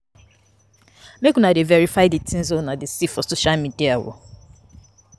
Make una dey verify tins wey una dey see for social media o.